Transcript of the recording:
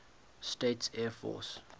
states air force